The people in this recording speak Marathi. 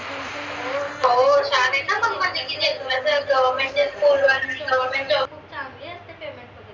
हो छान आहे न government ची school वाल्याचा job आहे तो खूप चांगली असते payment वगैरे